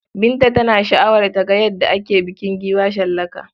Binta tana sha'awar ta ga yadda ake bukin giwa shallaka.